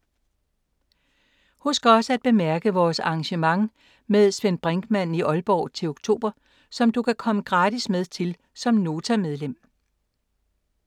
Husk også at bemærke vores arrangement med Svend Brinkmann i Aalborg til oktober, som du kan komme gratis med til som Nota-medlem.